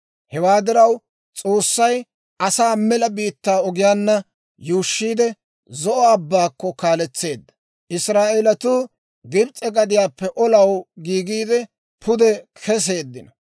Hewaa diraw, S'oossay asaa mela biittaa ogiyaanna yuushshiide, Zo'o Abbaakko kaaletseedda. Israa'eeletuu Gibs'e gadiyaappe olaw giigiide pude keseeddino.